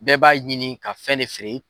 Bɛɛ b'a ɲini ka fɛn de feere.